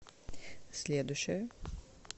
следующая